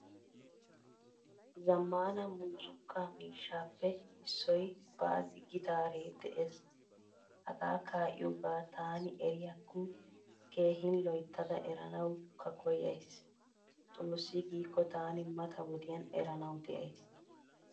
Zamaana muuzzuqqa miishshappe issoy bazi gitare de'ees. Haga kaiyoga tani eriyakko keehin loyttada eranawukka koyaysi. Xoossi giiko tani mata wodiyan eranawu deaysi.